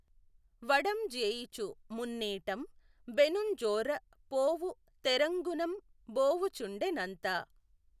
వడం జేయుచు మున్నీటం బెనుఁజోఱ పోవు తెఱంగునం బోవుచుండె నంత